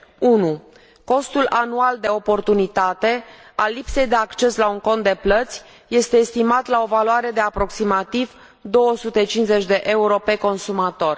1. costul anual de oportunitate al lipsei de acces la un cont de plăți este estimat la o valoare de aproximativ 250 de euro pe consumator